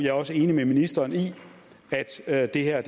er også enig med ministeren i at det her